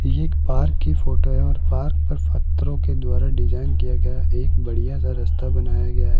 ये एक पार्क की फोटो है और पार्क पर पत्थरों के द्वारा डिजाइन किया गया एक बढ़िया सा रास्ता बनाया गया है।